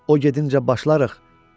O gedincə başlarıq.